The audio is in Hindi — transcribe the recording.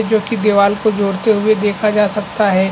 जो की दीवाल को जोड़ते हुए देखा जा सकता हैं ।